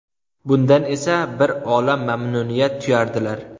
Bundan esa bir olam mamnuniyat tuyardilar.